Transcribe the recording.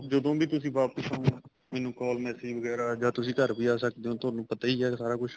ਜਦੋਂ ਵੀ ਤੁਸੀਂ ਵਾਪਿਸ ਆਹੋ ਮੈਨੂੰ call massage ਵਗੈਰਾ ਜਾਂ ਤੁਸੀਂ ਘਰ ਆ ਸਕਦੇ ਹੋ ਤੁਹਾਨੂੰ ਪਤਾ ਹੀ ਹੈ ਸਾਰਾ ਕੁੱਛ